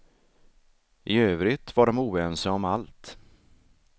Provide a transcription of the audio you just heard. I övrigt var de oense om allt.